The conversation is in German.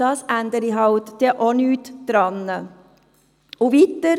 Das ändere auch nichts am Problem.